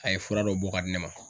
A ye fura dɔ bɔ ka di ne ma